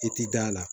I ti da la